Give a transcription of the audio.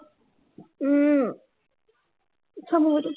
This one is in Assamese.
উম চাওঁ, মোবাইলটো